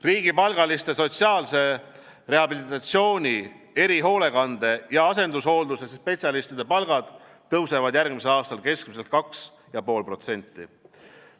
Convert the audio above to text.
Riigipalgaliste sotsiaalse rehabilitatsiooni, erihoolekande ja asendushoolduse spetsialistide palgad tõusevad järgmisel aastal keskmiselt 2,5%.